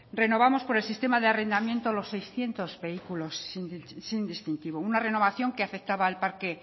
renovamos por el sistema de arrendamientos los seiscientos vehículos sin distintivo una renovación que afectaba al parque